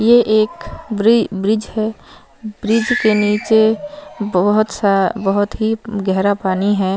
ये एक ब्री ब्रिज है ब्रिज के निचे बहोत सारे बहोत ही गहरा पानी है।